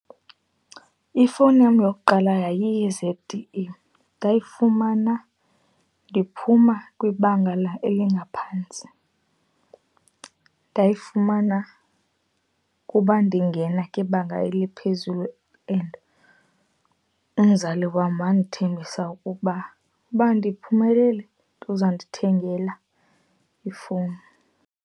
Ifowuni yam yokuqala yayiyi-Z_T_E. Ndayifumana ndiphuma kwibanga elingaphantsi. Ndayifumana kuba ndingena kwibanga eliphezulu and umzali wam wandithembisa ukuba, uba ndiphumelele uzandithengela ifowuni.